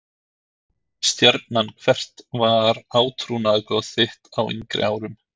Stjarnan Hvert var átrúnaðargoð þitt á yngri árum?